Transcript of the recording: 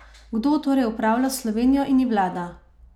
Kdo torej upravlja Slovenijo in ji vlada?